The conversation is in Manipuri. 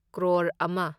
ꯀ꯭ꯔꯣꯔ ꯑꯃ